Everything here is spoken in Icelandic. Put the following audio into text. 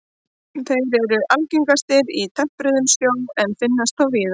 Þeir eru algengastir í tempruðum sjó en finnast þó víðar.